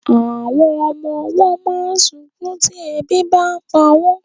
Àwọn ọmọ ọwọ́ máa ń sunkún tí ebi bàa ń pa wọn